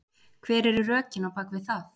Hver eru rökin á bakvið það?